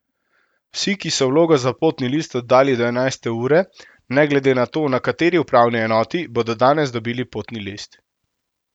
Vsi, ki so vlogo za potni list oddali do enajste ure, ne glede na to, na kateri upravni enoti, bodo danes dobili potni list.